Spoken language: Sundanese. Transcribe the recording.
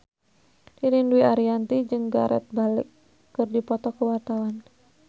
Ririn Dwi Ariyanti jeung Gareth Bale keur dipoto ku wartawan